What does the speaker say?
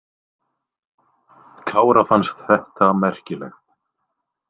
Kára fannst þetta merkilegt.